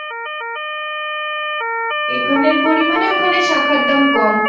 এখানের পরিমাণে ওখানে শাখার দাম কম